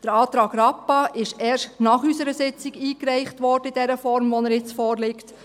Der Antrag Rappa wurde erst unserer Sitzung eingereicht in der Form, wie er jetzt vorliegt.